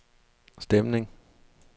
stemning